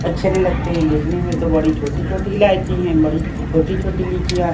अच्छे नहीं लगते है देखने में तो बड़ी छोटी-छोटी इलायची हैं बड़ी छोटी-छोटी लीचियाँ हैं।